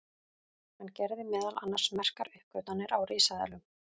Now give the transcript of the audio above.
hann gerði meðal annars merkar uppgötvanir á risaeðlum